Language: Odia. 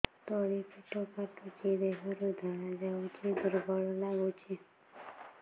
ତଳି ପେଟ କାଟୁଚି ଦେହରୁ ଧଳା ଯାଉଛି ଦୁର୍ବଳ ଲାଗୁଛି